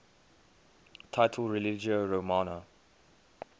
title religio romana